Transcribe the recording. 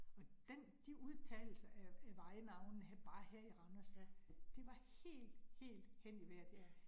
Og den, de udtalelser af af vejnavnene bare her i Randers, det var helt helt hen i vejret